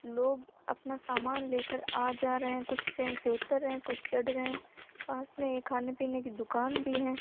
लोग अपना सामान लेकर आ जा रहे हैं कुछ ट्रेन से उत्तर हैं कुछ चढ़ रहे हैं पास में ही खाने पीने की दुकान भी है।